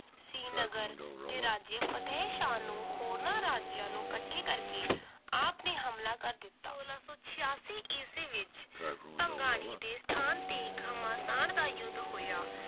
ਸ਼੍ਰੀਨਗਰ ਦੇ ਰਾਜ੍ਯ ਫਤਹਿਸ਼ਾਨ ਨੂੰ ਹੋਰਨਾਂ ਰਾਜਿਆਂ ਨੂੰ ਕੱਠੇ ਕਰਕੇ ਆਪ ਨੇ ਹਮਲਾ ਕਰ ਦਿੱਤਾ l ਸੋਲਾਂ ਸੌ ਛੇਯਾਸੀ ਈਸਵੀ ਵਿਚ ਭੰਗਾਣੀ ਦੇ ਸਥਾਨ ਤੇ ਘਮਾਸਾਨ ਦਾ ਯੁੱਧ ਹੋਇਆ l